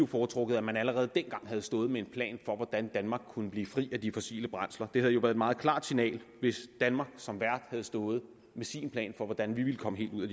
foretrukket at man allerede dengang havde stået med en plan for hvordan danmark kunne blive fri af af de fossile brændsler det havde jo været et meget klart signal hvis danmark som vært havde stået med sin plan for hvordan vi ville komme helt ud af